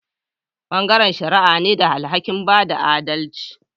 Bangaren shari'a ne da alhaki'n bada adalci.